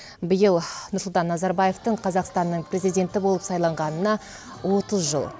биыл нұрсұлтан назарбаевтың қазақстанның президенті болып сайланғанына отыз жыл